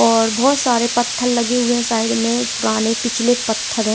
और बहुत सारे पत्थल लगे हुए हैं साइड में पुराने पिछले पत्थर हैं।